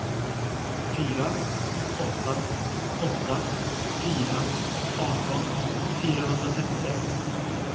fyra åtta åtta fyra arton fyrahundratrettiosex